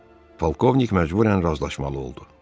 Polkovnik məcbürən razılaşmalı oldu.